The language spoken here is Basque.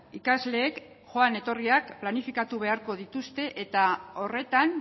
ikasleek joan etorriak planifikatu beharko dituzte eta horretan